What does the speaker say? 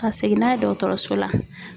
Ka segin n'a ye dɔgɔtɔrɔso la.